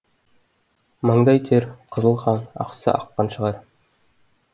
маңдай тер қызыл қан ақса аққан шығар